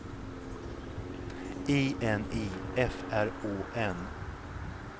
I N I F R Å N